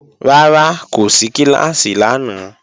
Rárá, kò sí kíláàsì lánàá